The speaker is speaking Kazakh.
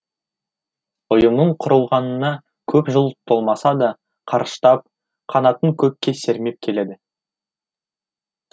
ұйымның құрылғанына көп жыл толмаса да қарыштап қанатын көкке сермеп келеді